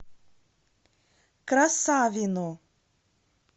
красавино